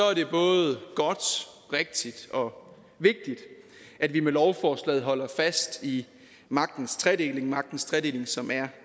er det både godt rigtigt og vigtigt at vi med lovforslaget holder fast i magtens tredeling magtens tredeling som er